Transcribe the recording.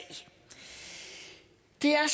det er